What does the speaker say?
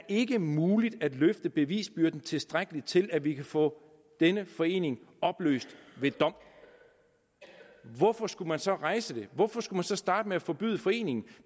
ikke er muligt at løfte bevisbyrden tilstrækkeligt til at vi kan få denne forening opløst ved dom hvorfor skulle man så rejse den hvorfor skulle man så starte med at forbyde foreningen